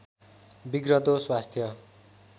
बिग्रँदो स्वास्थ्य